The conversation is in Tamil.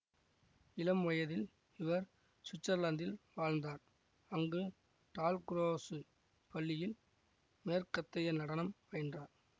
இளம் வயதில் இவர் சுவிட்சர்லாந்தில் வாழ்ந்தார் அங்கு டால்குரோசு பள்ளியில் மேற்கத்தைய நடனம் பயின்றார்